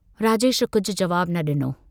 राजेश कुझ जवाबु न डिनो।